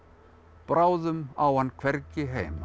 bráðum á hann hvergi heima